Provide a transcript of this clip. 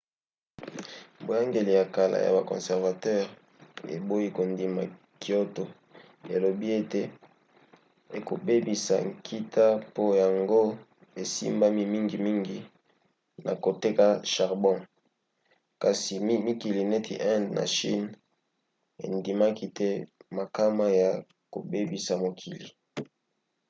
boyangeli ya kala ya ba conservateur eboyi kondima kyoto elobi ete ekobebisa nkita po yango esimbami mingimingi na koteka charbon kasi mikili neti inde na chine endimaki te makama ya kobebisa mokili